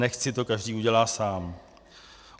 Nechť si to každý udělá sám.